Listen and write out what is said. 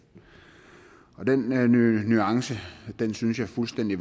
den nuance synes jeg fuldstændig